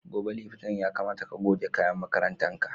Gobe Litinin ya kamata ka goge kayan makarantan ka.